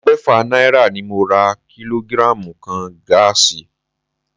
Ẹgbẹ́fà náírà ni mo ra kílógírààmù kan gáàsì